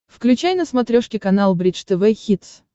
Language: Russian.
включай на смотрешке канал бридж тв хитс